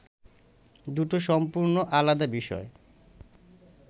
দুটো সম্পূর্ণ আলাদা বিষয়!